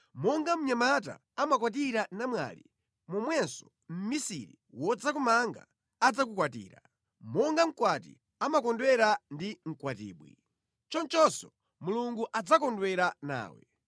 Monga mnyamata amakwatira namwali, momwenso mmisiri wodzakumanga adzakukwatira; monga mkwati amakondwera ndi mkwatibwi, chonchonso Mulungu adzakondwera nawe.